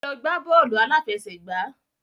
Ẹ lọ gbá bọ́ọ̀lù aláfẹsẹ̀gbá.